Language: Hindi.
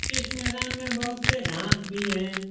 इस मैदान में बहुत से घाँस भी है।